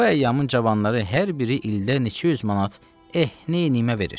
Qoy əyyamın cavanları hər biri ildə neçə yüz manat, eh, neyniyimə verir.